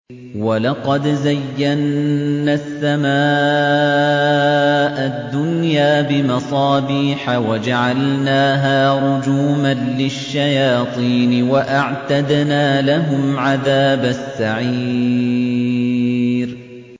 وَلَقَدْ زَيَّنَّا السَّمَاءَ الدُّنْيَا بِمَصَابِيحَ وَجَعَلْنَاهَا رُجُومًا لِّلشَّيَاطِينِ ۖ وَأَعْتَدْنَا لَهُمْ عَذَابَ السَّعِيرِ